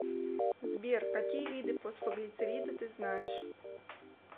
сбер какие виды фосфоглицериды ты знаешь